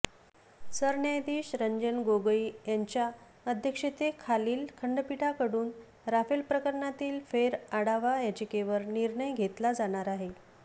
सरन्यायाधिश रंजन गोगोई यांच्या अध्यक्षतेखालील खंडपीठाकडून राफेल प्रकरणातील फेरआढावा याचिकेवर निर्णय घेतला जाणार आहे